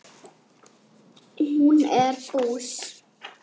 Hún er bús.